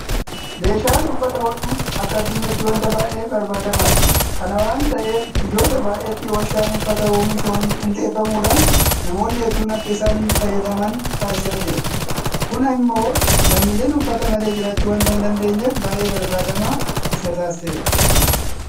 Meeshaan uffata hodhu akka addunyaatti waanta baay'ee barbaadamaadha. Kana waanta ta'eef biyyoota baay'eetti warshaan uffata oomishu hundeeffamuudhaan namoonni hedduun akka isaan fayyadaman taasisaa jira. Kun immoo lammiileen uffata malee jiraachuu waanta hindandeenyeef baay'ee barbaadamaa isa taasiseera.